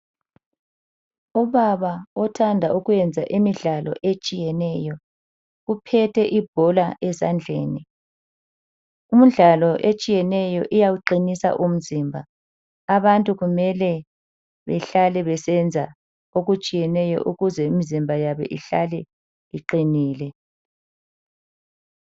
Ubaba othanda ukuyenza imidlalo etshiyeneyo uphethe ibhola ezandleni. Umdlalo etshiyeneyo iyawuqinisa umzimba. Abantu kumele behlale besenza okutshiyeneyo ukuze imizimba yabo ihlale iqinile.